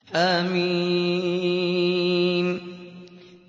حم